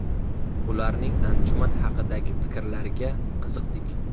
Ularning anjuman haqidagi fikrlariga qiziqdik.